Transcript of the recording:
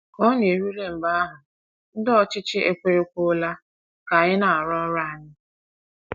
Ka ọ na - erule mgbe ahụ ndị ọchịchị ekwerekwuola ka anyị na - arụ ọrụ anyị.